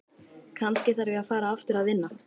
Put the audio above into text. Kannski þarf ég að fara aftur að vinna.